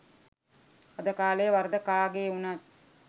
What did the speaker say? අද කාලේ වරද කාගේ වුනත්